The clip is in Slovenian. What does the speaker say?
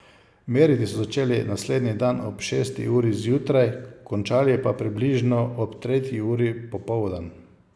Meriti so začeli naslednji dan ob šesti uri zjutraj, končali pa približno ob tretji uri popoldan.